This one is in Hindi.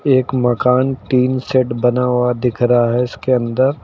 एक मकान टीन शेड बना हुआ दिख रहा है इसके अंदर--